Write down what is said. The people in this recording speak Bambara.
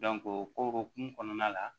o hokumu kɔnɔna la